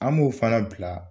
An b'o fana bila